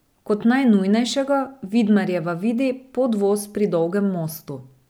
Kot najnujnejšega Vidmarjeva vidi podvoz pri Dolgem mostu.